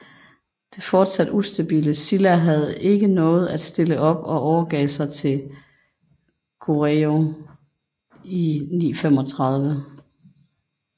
Det fortsat ustabile Silla havde ikke noget at stille op og overgav sig til Goryeo i 935